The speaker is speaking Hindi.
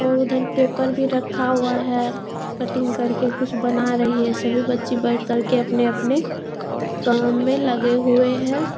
और उधर पेपर भी रखा हुआ है। कटिंग करके कुछ बना रही है। सभी बच्चे बैठ कर के अपने-अपने काम में लगे हुए हैं।